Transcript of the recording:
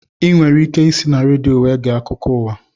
Ị nwere ike isi na redio were gee akụkọ ụwa